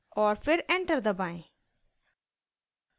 और फिर एंटर दबाएं